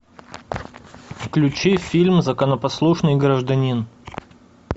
включи фильм законопослушный гражданин